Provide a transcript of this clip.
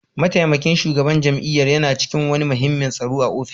Mataimakin shugaban jami'ar na cikin wani muhimmin taro a ofishinsa